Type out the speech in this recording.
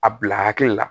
A bila hakili la